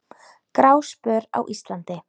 Gráspör á Íslandi